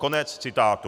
Konec citátu.